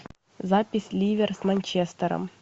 запись ливер с манчестером